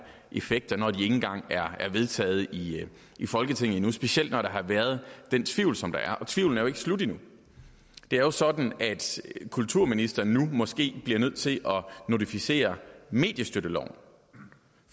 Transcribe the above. effekter når de ikke engang er vedtaget i i folketinget endnu specielt når der har været den tvivl som der er og tvivlen er jo ikke slut endnu det er jo sådan at kulturministeren nu måske bliver nødt til at notificere mediestøtteloven